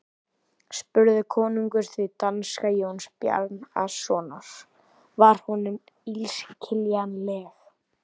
spurði konungur því danska Jóns Bjarnasonar var honum illskiljanleg.